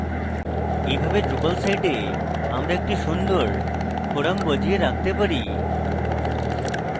এভাবে drupal সাইটে আমরা একটি সুন্দর forum বজিয়ে রাখতে পারি